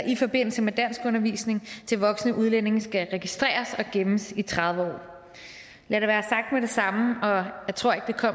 i forbindelse med danskundervisning til voksne udlændinge skal registreres og gemmes i tredive år lad det være sagt med det samme og jeg tror ikke